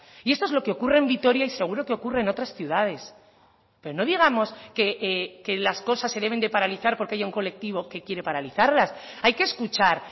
y esto es lo que ocurre en vitoria y seguro que ocurre en otras ciudades pero no digamos que las cosas se deben de paralizar porque haya un colectivo que quiere paralizarlas hay que escuchar